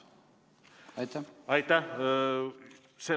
Aitäh!